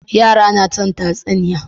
yara na son tatsuniya